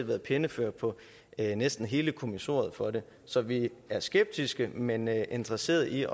været pennefører på næsten hele kommissoriet for det så vi er skeptiske men interesseret i